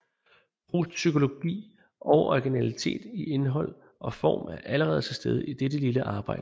Prousts psykologi og originalitet i indhold og form er allerede til stede i dette lille arbejde